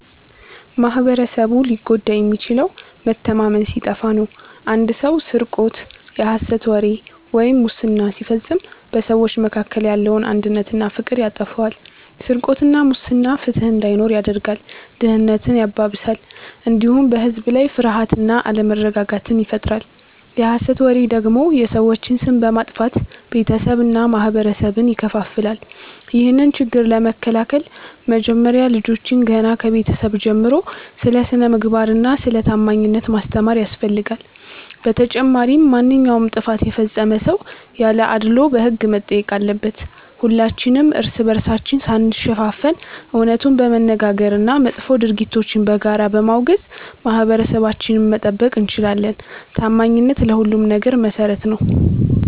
ማኅበረሰቡ ሊጎዳ የሚችለው መተማመን ሲጠፋ ነው። አንድ ሰው ስርቆት፣ የሐሰት ወሬ ወይም ሙስና ሲፈጽም በሰዎች መካከል ያለውን አንድነትና ፍቅር ያጠፋዋል። ስርቆትና ሙስና ፍትሕ እንዳይኖር ያደርጋል፣ ድህነትን ያባብሳል፣ እንዲሁም በሕዝብ ላይ ፍርሃትና አለመረጋጋትን ይፈጥራል። የሐሰት ወሬ ደግሞ የሰዎችን ስም በማጥፋት ቤተሰብንና ማኅበረሰብን ይከፋፍላል። ይህንን ችግር ለመከላከል መጀመሪያ ልጆችን ገና ከቤተሰብ ጀምሮ ስለ ስነ-ምግባርና ስለ ታማኝነት ማስተማር ያስፈልጋል። በተጨማሪም ማንኛውም ጥፋት የፈጸመ ሰው ያለ አድልዎ በሕግ መጠየቅ አለበት። ሁላችንም እርስ በርሳችን ሳንሸፋፈን እውነቱን በመነጋገርና መጥፎ ድርጊቶችን በጋራ በማውገዝ ማኅበረሰባችንን መጠበቅ እንችላለን። ታማኝነት ለሁሉም ነገር መሠረት ነው።